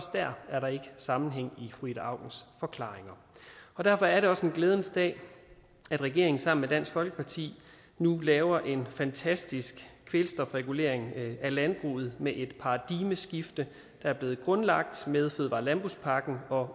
der er der sammenhæng i fru ida aukens forklaringer derfor er det også en glædens dag at regeringen sammen med dansk folkeparti nu laver en fantastisk kvælstofregulering af landbruget med et paradigmeskifte der er blevet grundlagt med fødevare og landbrugspakken og